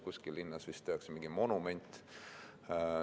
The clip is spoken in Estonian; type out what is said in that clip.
Kuskil linnas vist tehakse mingi monument.